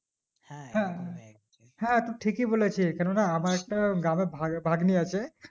হ্যাঁ হ্যাঁ হ্যাঁ টু ঠিকই বলেছিস কেন না আমার একটা গ্রামে ভাভাগ্নি আছে